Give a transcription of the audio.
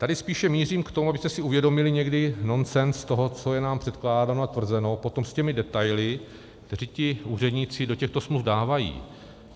Tady spíše mířím k tomu, abyste si uvědomili někdy nonsens toho, co je nám předkládáno a tvrzeno potom s těmi detaily, kteří ti úředníci do těchto smluv dávají.